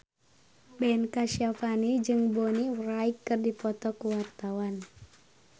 Ben Kasyafani jeung Bonnie Wright keur dipoto ku wartawan